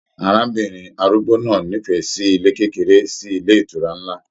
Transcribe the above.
Arábìnrin arúgbó náà n'ifẹ sí ilé kékeré sí ilé ìtura nlá